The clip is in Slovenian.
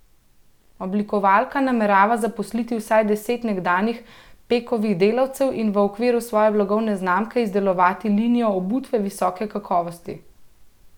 Oblikovalka namerava zaposliti vsaj deset nekdanjih Pekovih delavcev in v okviru svoje blagovne znamke izdelovati linijo obutve visoke kakovosti.